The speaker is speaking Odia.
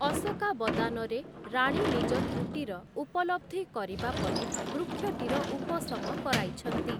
ଅଶୋକାବଦାନ'ରେ, ରାଣୀ ନିଜ ତ୍ରୁଟିର ଉପଲବ୍ଧି କରିବା ପରେ, ବୃକ୍ଷଟିର ଉପଶମ କରାଇଛନ୍ତି ।